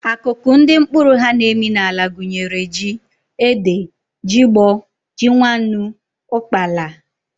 Akụkụ ndị mkpụrụ ha na-emi n'ala gụnyere ji, ede, jigbọ, ji nwannu, ụkpaala